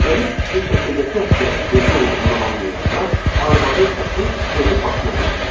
Qərib kişi şəkildəki əsgərin özü olduğunu anlayanda, arvadın səsi evi başına götürmüşdü.